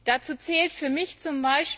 Dazu zählt für mich z.